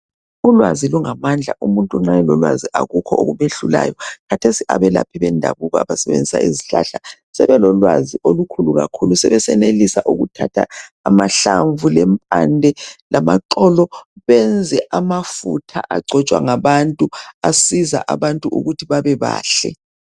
Ulwazi lungamandla umuntu nxa elolwazi akukho okumehlulayo. Khathesi abelaphi bendabuko abasebenzisa izihlahla sebelolwazi olukhulu kakhulu, sebesenelisa ukuthatha amahlamvu, lempande lamaxolo benze amafutha agcotshwa ngabantu asiza abantu ukuthi babebahle.